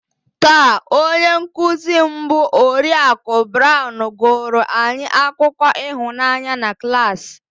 Taa, onye nkụzi m bụ Oriakụ Brown gụụrụ anyị akụkọ ịhụnanya na klas